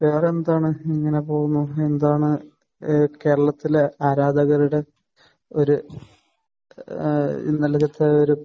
വേറെ എന്താണ്? ഇങ്ങനെ പോകുന്നു. എന്താണ് ഏഹ് കേരളത്തിലെ ആരാധകരുടെ ഒരു ഏഹ് നല്ല ഒരു